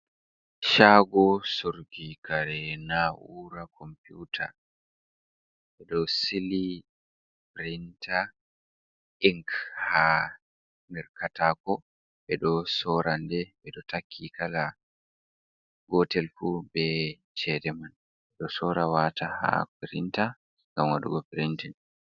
Shago surrgo kare na ura computa, ɓe ɗo sili printa ink ha nder katako ɓe ɗo soranle ɓe ɗo taki kala gotel fuu be ceede man , ɓe ɗo sorawata ha printa, gam wadugo printing.